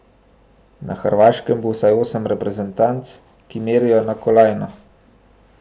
Na Hrvaškem bo vsaj osem reprezentanc, ki merijo na kolajno.